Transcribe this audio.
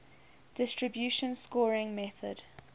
distribution scoring method